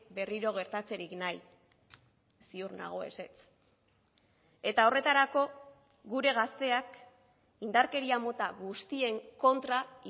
berriro gertatzerik nahi ziur nago ezetz eta horretarako gure gazteak indarkeria mota guztien kontra